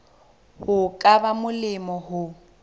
ho ka ba molemo ho